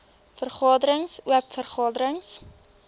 vergaderings oop vergaderings